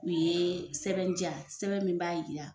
U ye sɛbɛn di yan sɛbɛn min b'a jira